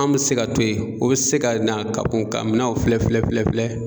An mɛ se ka to ye o bɛ se ka na ka kɔn ka minanw filɛ filɛ filɛ filɛ.